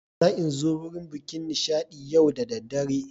Zain'zo wurin bikin Nishadi yau da daddare.